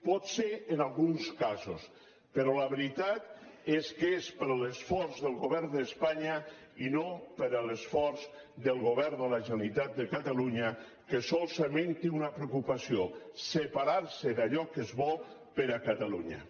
pot ser en alguns casos però la veritat és que és per l’esforç del govern d’espanya i no per l’esforç del govern de la generalitat de catalunya que solament té una preocupació separarse d’allò que és bo per a catalunya